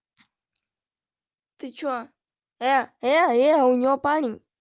ты что э у неё парень